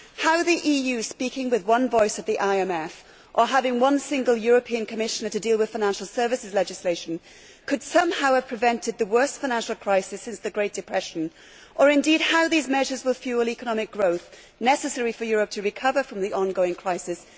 It is not obvious how the EU speaking with one voice at the IMF or having one single European commissioner to deal with financial services legislation could somehow have prevented the worst financial crisis since the Great Depression or indeed how these measures will fuel the economic growth necessary for Europe to recover from the ongoing crisis.